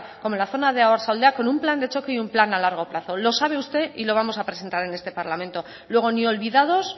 como en la zona de oarsoaldea con un plan de choque y un plan a largo plazo lo sabe usted y lo vamos a presentar en este parlamento luego ni olvidados